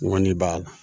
Ŋɔni b'a la